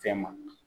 Fɛn ma